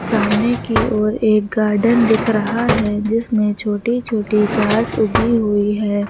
सामने की ओर एक गार्डन दिख रहा है जिसमें छोटी छोटी घास उगी हुई है।